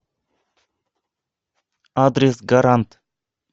адрес гарант